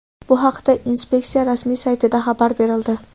Bu haqda inspeksiya rasmiy saytida xabar berildi .